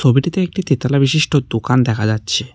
ছবিটিতে একটিতে তেতলা বিশিষ্ট দোকান দেখা যাচ্ছে।